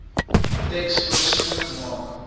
teks voorsiening gemaak